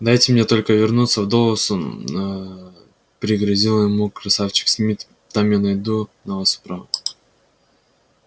дайте мне только вернуться в доусон аа пригрозил ему красавчик смит там я найду на вас управу